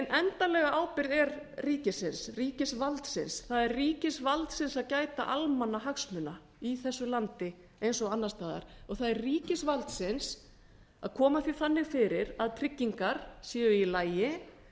endanlega ábyrgð er ríkisins ríkisvaldsins það er ríkisvaldsins að gæta almannahagsmuna í þessu landi eins og annars staðar og það er ríkisvaldsins að koma því þannig fyrir að tryggingar séu í lagi